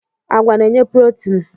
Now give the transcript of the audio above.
Agwa na-enye protin.